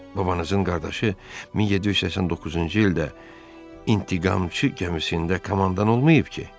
Babanızın qardaşı 1789-cu ildə "İntiqamçı" gəmisində komandan olmayıb ki?